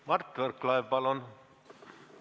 Mart Võrklaev, palun!